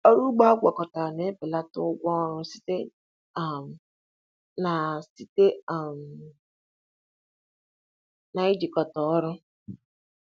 Ọrụ ugbo agwakọtara na-ebelata ụgwọ ọrụ site um na site um na ijikọta ọrụ.